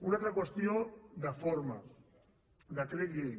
una altra qüestió de forma decret llei